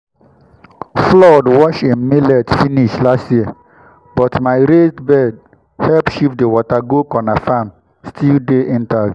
flood wash him millet finish last year but my raised bed help shift the water go corner—farm still dey intact.